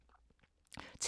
TV 2